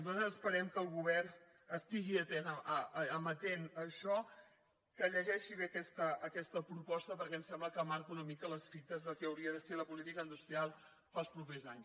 nosaltres esperem que el govern estigui amatent a això que llegeixi bé aquesta proposta perquè ens sembla que marca una mica les fites del que hauria de ser la política industrial per als propers anys